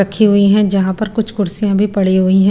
रखी हुई हैं जहां पर कुछ कुर्सियां भी पड़ी हुई हैं।